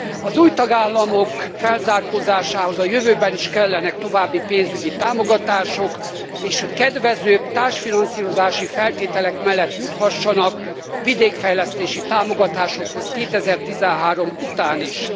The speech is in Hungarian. Az új tagállamok felzárkózásához a jövőben is kellenek további pénzügyi támogatások, és kedvezőbb társfinanszírozási feltételek mellett juthassanak vidékfejlesztési támogatásokhoz 2013 után is.